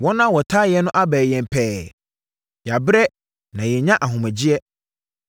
Wɔn a wɔtaa yɛn no abɛn yɛn pɛɛ; Yɛabrɛ na yɛnnya ahomegyeɛ.